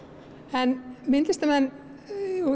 en myndlistarmenn